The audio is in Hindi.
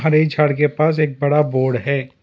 हरे झाड़ के पास एक बड़ा बोर्ड है।